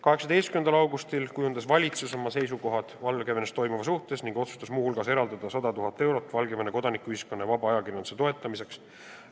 18. augustil kujundas valitsus oma seisukohad Valgevenes toimuva suhtes ning otsustas muu hulgas eraldada 100 000 eurot Valgevene kodanikuühiskonna ja vaba ajakirjanduse toetamiseks.